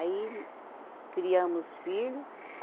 Aí criamos os filho.